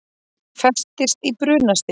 Festist í brunastiga